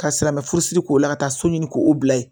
Ka silamɛ furusiri k'o la ka taa so ɲini k'o bila yen